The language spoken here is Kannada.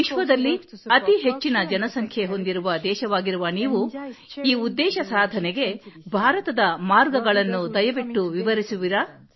ವಿಶ್ವದಲ್ಲಿ ಅತಿ ಹೆಚ್ಚಿನ ಜನಸಂಖ್ಯೆ ಹೊಂದಿರುವ ದೇಶವಾಗಿರುವ ನೀವು ಈ ಉದ್ದೇಶ ಸಾಧನೆಗೆ ಭಾರತದ ಮಾರ್ಗಗಳನ್ನು ದಯವಿಟ್ಟು ವಿವರಿಸುವಿರಾ